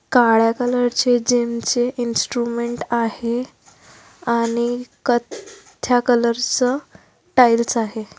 काळ्या कलर चे जीमचे इंस्ट्रुमेंट आहे आणि कत्थ्या कलर च टाईल्स आहे.